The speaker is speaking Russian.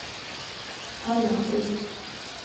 анапы